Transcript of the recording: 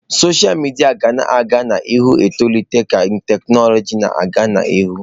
Sọsha midia ga-aga n'ihu na-etolite ka tekinọloji na-aga n'ihu.